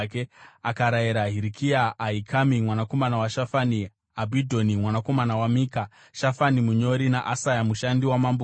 Akarayira Hirikia, Ahikami mwanakomana waShafani, Abhidhoni mwanakomana waMika, Shafani munyori naAsaya mushandi wamambo kuti,